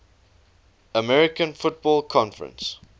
american football conference